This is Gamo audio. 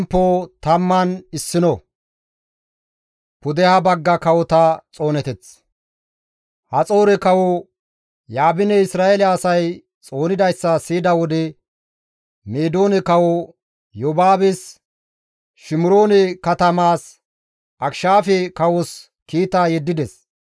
Haxoore kawo Yaabiney Isra7eele asay xoonidayssa siyida wode, Meedoone kawo Yobaabes, Shimiroone katamaas, Akishaafe kawos kiita yeddides.